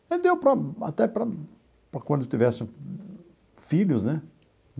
Aí deu para até para quando eu tivesse filhos, né?